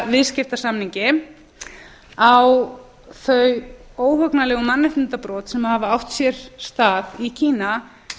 viðskiptasamningi á þau óhugnanlegu mannréttindabrot sem hafa átt sér stað í kína